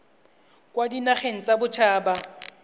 kwa dinageng tsa bodit haba